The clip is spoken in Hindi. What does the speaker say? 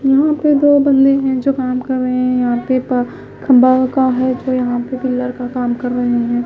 यहां पे दो बंदे हैं जो काम कर रहे हैं यहां पे पा खंबा का है जो यहां पे पीलर का काम कर रहे हैं।